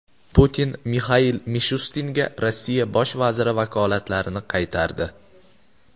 Putin Mixail Mishustinga Rossiya bosh vaziri vakolatlarini qaytardi.